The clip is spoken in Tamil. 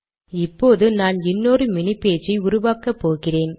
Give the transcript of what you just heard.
இப்போது நான் இன்னொரு மினி பேஜ் உருவாக்கப்போகிறேன்